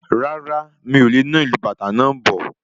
Rárá, mí o le na ìlu bàtá náà bọ̀